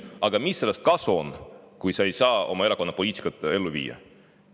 Aga mis sellest kasu on, kui sa ei saa oma erakonna poliitikat ellu viia?